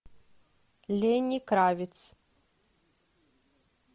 ленни кравиц